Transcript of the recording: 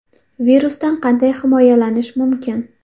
Virusdan qanday himoyalanish mumkin?